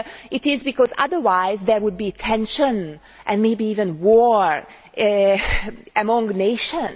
it is because otherwise there would be tension and maybe even war among nations?